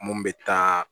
Mun bɛ taa